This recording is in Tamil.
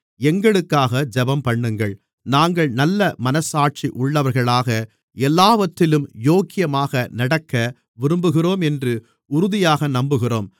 எங்களுக்காக ஜெபம்பண்ணுங்கள் நாங்கள் நல்ல மனச்சாட்சி உள்ளவர்களாக எல்லாவற்றிலும் யோக்கியமாக நடக்க விரும்புகிறோம் என்று உறுதியாக நம்புகிறோம்